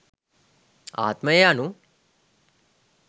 ආත්මය යනු